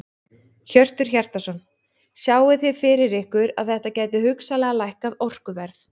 Hjörtur Hjartarson: Sjáið þið fyrir ykkur að þetta gæti hugsanlega lækkað orkuverð?